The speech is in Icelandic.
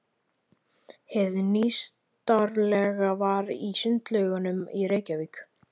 Hið nýstárlegasta var í Sundlaugunum í Reykjavík.